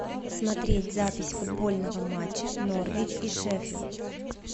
смотреть запись футбольного матча норвич и шеффилд